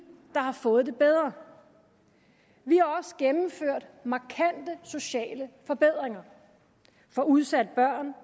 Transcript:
der har fået det bedre vi har også gennemført markante sociale forbedringer for udsatte børn